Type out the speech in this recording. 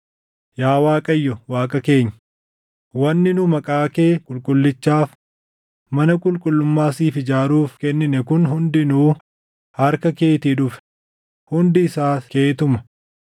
Yaa Waaqayyo Waaqa keenya, wanni nu Maqaa kee Qulqullichaaf mana qulqullummaa siif ijaaruuf kennine kun hundinuu harka keetii dhufe; hundi isaas keetuma.